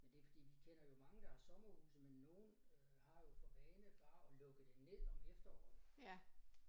Men det ikke fordi vi kender jo mange der har sommerhuse men nogen øh har jo for vane bare at lukke det ned om efteråret